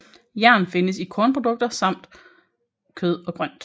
Jern findes især i kornprodukter samt kød og grønt